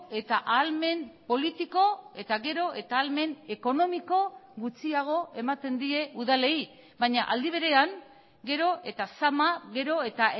eta ahalmen politiko eta gero eta ahalmen ekonomiko gutxiago ematen die udalei baina aldi berean gero eta zama gero eta